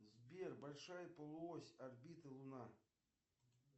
сбер большая полуось орбиты луна